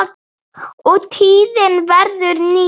og tíðin verður ný.